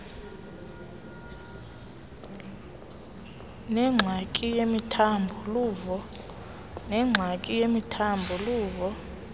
nengxaki yemithambo luvo